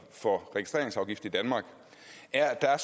for registreringsafgift i danmark er at der er